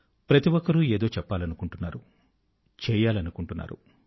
ప్రతి ఒక్కరూ ఏదో చెప్పాలనుకుంటున్నారు చేయాలనుకుంటున్నారు